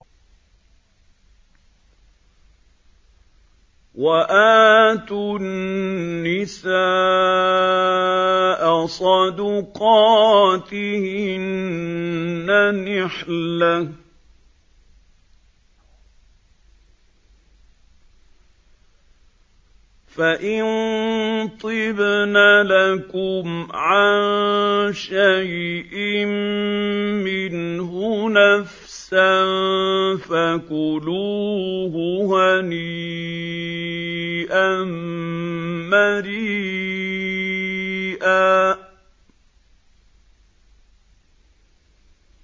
وَآتُوا النِّسَاءَ صَدُقَاتِهِنَّ نِحْلَةً ۚ فَإِن طِبْنَ لَكُمْ عَن شَيْءٍ مِّنْهُ نَفْسًا فَكُلُوهُ هَنِيئًا مَّرِيئًا